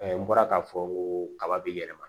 n bɔra k'a fɔ n ko kaba bɛ yɛlɛma